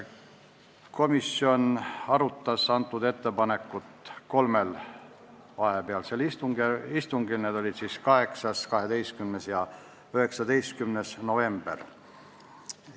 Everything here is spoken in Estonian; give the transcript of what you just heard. Komisjon arutas eelnõu kolmel istungil, need toimusid 8., 12. ja 19. novembril.